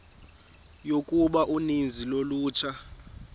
yokuba uninzi lolutsha